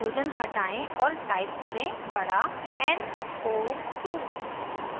hydrogen हटायें और type करें बड़ा n o 2